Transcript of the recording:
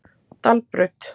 Dalbraut